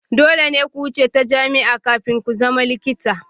Dole ne ku wuce ta jami'a kafin ku zama likita.